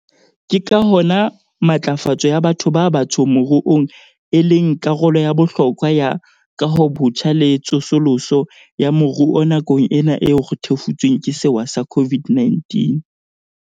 Ke ka hona matlafatso ya batho ba batsho moruong e leng karolo ya bohlokwa ya kahobotjha le tsosoloso ya moruo nakong ena eo re thefutsweng ke sewa sa COVID-19.